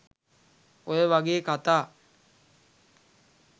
ඔය වගේ කථා